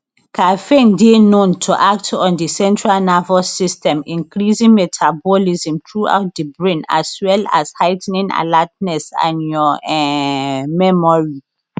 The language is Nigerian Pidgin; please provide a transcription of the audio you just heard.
caffeine dey known to act on di central nervous system increasing metabolism throughout di brain as well as heigh ten ing alertness and your um memory